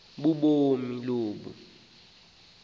kanobomi umfo lo